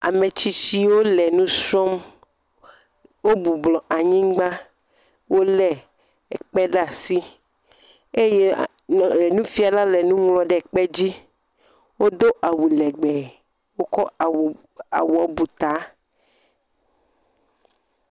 Ametsitsiwo le nusrɔm, wobublɔ anyigba. Wole ekpe ɖe asi eye nufiala le nuŋlɔm ɖe kpedzi. Wodo awu legbe, wokɔ awua buta.